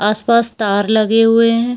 आस-पास तार लगे हुए हैं।